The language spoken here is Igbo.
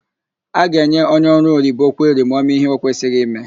A ga-enye onye ọrụoyibo kweri ma ọ mee íhé ọ kwesịghị ime.